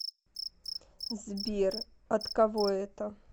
сбер от кого это